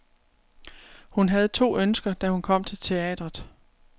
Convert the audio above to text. Hun havde to ønsker, da hun kom til teatret.